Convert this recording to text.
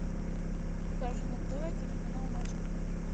покажи на тв телеканал матч премьер